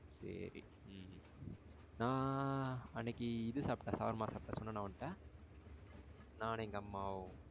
செரி. உம் நா அன்னைக்கு இது சாப்ப்டேன் shawarma சாப்ப்டேன் சொன்னேனா உன்ட்ட? நானும் எங்க அம்மாவும் சேர்ந்து.